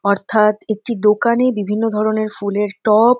অর্থাৎ একটি দোকানে বিভিন্ন ধরণের ফুলের ট-অব।